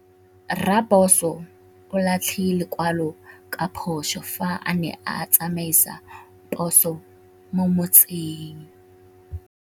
Raposo o latlhie lekwalô ka phosô fa a ne a tsamaisa poso mo motseng.